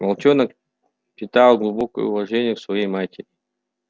волчонок питал глубокое уважение к своей матери